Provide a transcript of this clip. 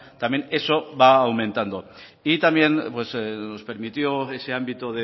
también eso va aumentando y también nos permitió ese ámbito